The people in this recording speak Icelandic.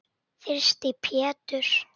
Þyrsti Pétur.